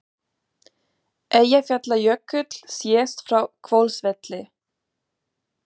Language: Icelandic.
Eyjafjallajökull sést frá Hvolsvelli.